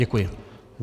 Děkuji.